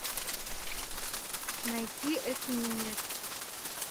найти эсминец